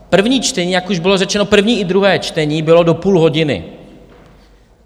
První čtení, jak už bylo řečeno, první i druhé čtení, bylo do půl hodiny.